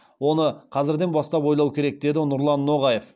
оны қазірден бастап ойлау керек деді нұрлан ноғаев